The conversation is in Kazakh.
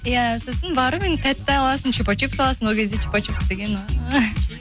иә сосын барып енді тәтті аласың чупа чупс аласың ол кезде чупа чупс деген ооо